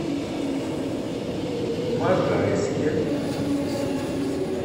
можайске